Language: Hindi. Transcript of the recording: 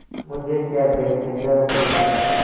मुझे क्या बेचेगा रुपय्या